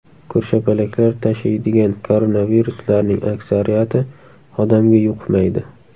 Ko‘rshapalaklar tashiydigan koronaviruslarning aksariyati odamga yuqmaydi.